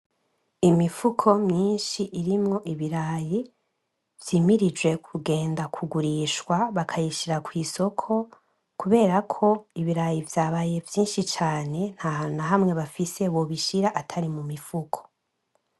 Imifuko myishi irimwo ibirayi vy'imirijwe kugenda kugurishwa bakabishira kwisoko, kuberako ibirayi vyabaye vyishi cane ntahantu nahamwe bafise bobishira atari mumifuko